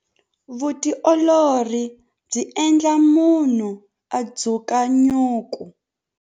Vutiolori byi endla munhu a dzuka nyuku.